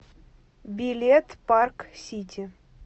билет парк сити